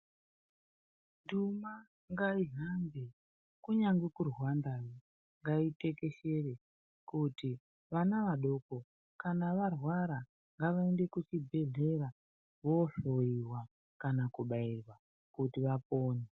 Ndima ngaihambe, kunyange kuRwanda ngaitekeshere kuti vana vadoko kana varwara ngavaende kuchibhedhlera vohloiwa kana kubairwa kuti vapone.